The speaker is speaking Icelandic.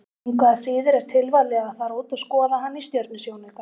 Engu að síður er tilvalið að fara út og skoða hann í stjörnusjónauka.